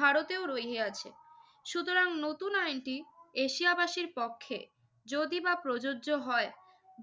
ভারতেও রহিয়াছে। সুতরাং নতুন আইনটি এশিয়াবাসীর পক্ষে যদিবা প্রযোজ্য হয়